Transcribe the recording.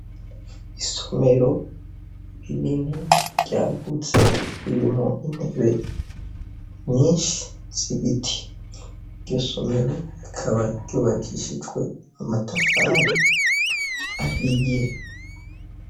Isomero rinini ryagutse ririmwo intebe nyinshi z'ibiti , iryo somero rikaba ryubakishijwe amatafari ahiye.